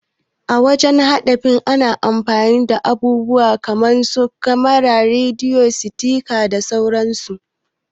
A wajan haɗa fina-fnai ana amfani da abubuwa kaman su kamara, rediyo, sifika da sauran su.